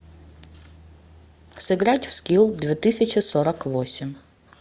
сыграть в скил две тысячи сорок восемь